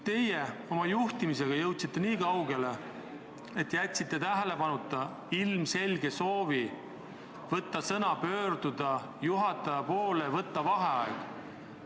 Sellise juhtimisega jõudsite te nii kaugele, et jätsite tähelepanuta ilmselge soovi sõna saada ja pöörduda juhataja poole palvega võtta vaheaeg.